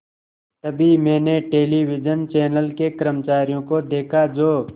तभी मैंने television channel के कर्मचारियों को देखा जो